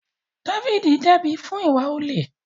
Dáfídì dẹ́bi fún ìwà olè